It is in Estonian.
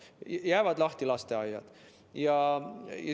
Jäävad lahti lasteaiad.